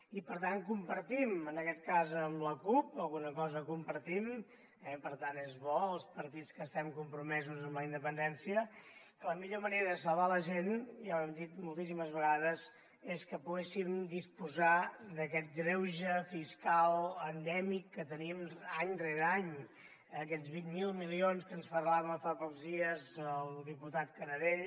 i per tant compartim en aquest cas amb la cup alguna cosa compartim per tant és bo els partits que estem compromesos amb la independència que la millor manera de salvar la gent ja ho hem dit moltíssimes vegades és que poguéssim disposar d’aquest greuge fiscal endèmic que tenim any rere any aquests vint miler milions de què ens parlava fa pocs dies el diputat canadell